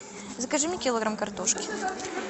закажи мне килограмм картошки